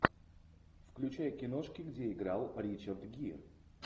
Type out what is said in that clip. включай киношки где играл ричард гир